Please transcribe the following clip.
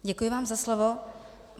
Děkuji vám za slovo.